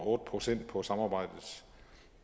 otte procent på samarbejdets